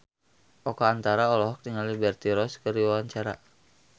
Oka Antara olohok ningali Liberty Ross keur diwawancara